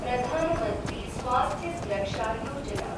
Pradhan Mantri Swasthya Suraksha Yojana